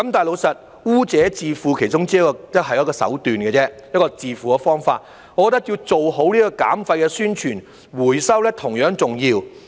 老實說，"污者自付"是其中一種手段，一種自付的方法，我認為要做好減廢的宣傳，回收是同樣重要的。